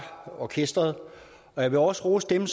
orkesteret og jeg vil også rose dem